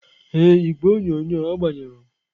Ee, igwe onyonyo agbanyụrụ.